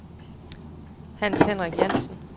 Hans-Henrik Jantzen